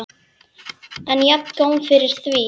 En jafngóð fyrir því!